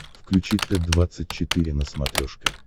включи т двадцать четыре на смотрешке